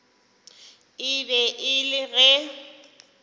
e be e le ge